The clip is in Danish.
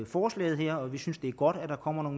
forslaget her vi synes det er godt at der kommer